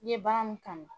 N ye baara mun kanu